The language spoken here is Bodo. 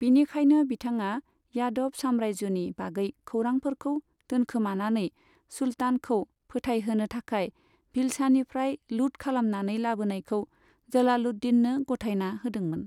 बिनिखायनो, बिथाङा यादव सामरायजोनि बागै खौरांफोरखौ दोनखोमानानै, सुल्तानखौ फोथायहोनो थाखाय भिलसानिफ्राय लुट खालामनानै लाबोनायखौ जलालुद्दिननो गथायना होदोंमोन।